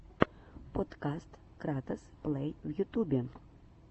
подкаст кратос плэй в ютьюбе